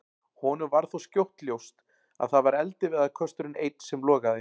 Honum varð þó skjótt ljóst að það var eldiviðarkösturinn einn sem logaði.